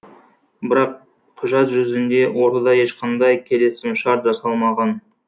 бірақ құжат жүзінде ортада ешқандай келісімшарт жасалмаған